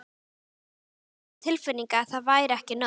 Samt hafði ég á tilfinningunni að það væri ekki nóg.